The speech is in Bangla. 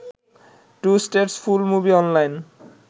2 states full movie online